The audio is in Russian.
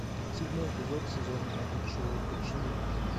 седьмой эпизод сезона один шоу подчинение